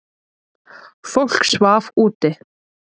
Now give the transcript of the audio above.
Fólk svaf úti.